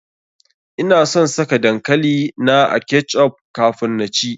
Ina son saka dankali na a ketch up kafun na ci.